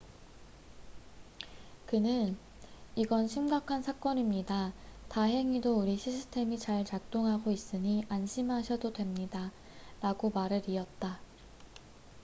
"그는 "이건 심각한 사건입니다. 다행히도 우리 시스템이 잘 작동하고 있으니 안심하셔도 됩니다.""라고 말을 이었다.